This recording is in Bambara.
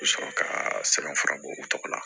U bɛ sɔrɔ ka sɛbɛnfura bɔ u tɔgɔ la